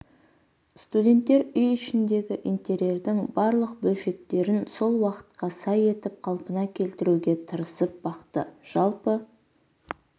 студенттер үй ішіндегі интерьердің барлық бөлшектерін сол уақытқа сай етіп қалпына келтіруге тырысып бақты жалпы